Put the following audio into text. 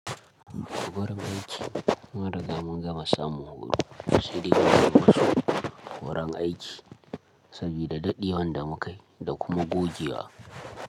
Wurin aiki mun riga mun gama samu horo, sai dai muyi ma wasu horon aiki sabida daɗewar da mu kayi da kuma gogewa.